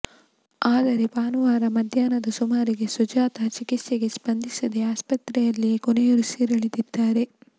ಆದರೆ ಭಾನುವಾರ ಮಧ್ಯಾಹ್ನದ ಸುಮಾರಿಗೆ ಸುಜಾತ ಚಿಕಿತ್ಸೆಗೆ ಸ್ಪಂದಿಸಿದೆ ಆಸ್ಪತ್ರೆಯಲ್ಲಿಯೇ ಕೊನೆಯುಸಿರೆಳೆದಿದ್ದಾರೆ